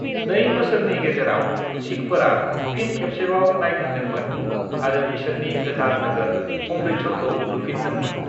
"नै बोसोरनि गेजेराव, सिखफोरा फिन खेबसेबाव नांफिनदोंमोन आरो बिसोरनि गोथार नोगोर अमृतसरखौ लुफिनदोंमोन।"